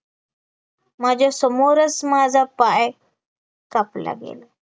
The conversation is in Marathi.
माझ्यासमोरच माझा पाय कापला गेला